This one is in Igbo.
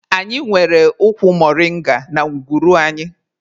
Anyị nwere ụkwụ moringa na ngwuru anyị.